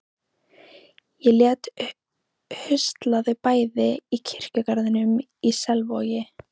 Ég lét husla þau bæði í kirkjugarðinum í Selvogi.